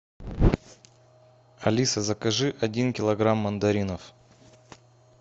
алиса закажи один килограмм мандаринов